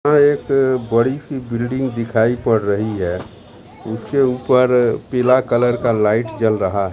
यहां एक बड़ी-सी बिल्डिंग दिखाई पड़ रही है इसके ऊपर पीला कलर का लाइट जल रहा --